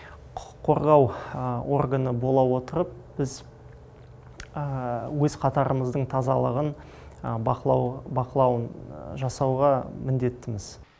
құқық қорғау органы бола отырып біз өз қатарымыздың тазалығын бақылауын жасауға міндеттіміз